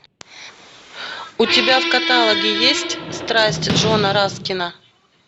у тебя в каталоге есть страсти джона раскена